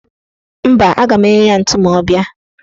Mba, aga m enye ya ntu ma ọ bịa.